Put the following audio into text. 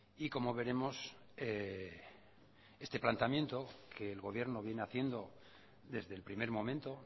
y como veremos este planteamiento que el gobierno viene haciendo desde el primer momento